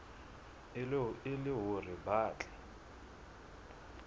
e le hore ba tle